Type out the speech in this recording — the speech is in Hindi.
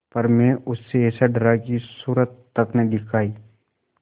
पर मैं उससे ऐसा डरा कि सूरत तक न दिखायी